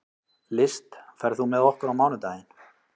List, ferð þú með okkur á mánudaginn?